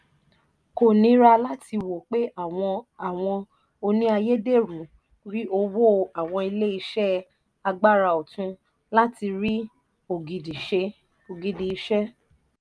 kò nira láti wo pé àwọn àwọn òní ayédèrú rí owó àwọn ilé iṣẹ́ agbára ọ̀tun láti rí ògidi ìṣe.